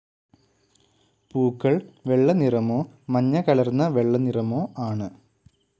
പൂക്കൾ വെള്ളനിറമോ മഞ്ഞകലർന്ന വെള്ളനിറമോ ആണ്.